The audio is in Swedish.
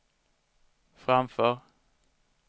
framför